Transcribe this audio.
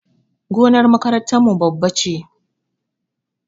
Gonar makarantar mu babba ne